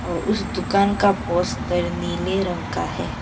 उस दुकान का पोस्टर नीले रंग का है।